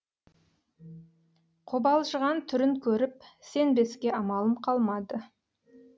қобалжыған түрін көріп сенбеске амалым қалмады